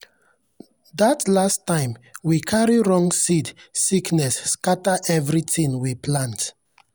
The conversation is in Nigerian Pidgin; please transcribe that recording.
that last time we carry wrong seed sickness scatter everything we plant.